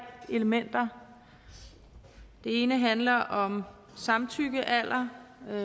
elementer det ene handler om samtykkealder